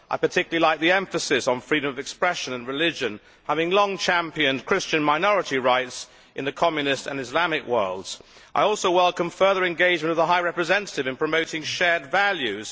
I particularly like the emphasis on freedom of expression and religion, having long championed Christian minority rights in the communist and Islamic worlds. I also welcome the further engagement of the High Representative in promoting shared values.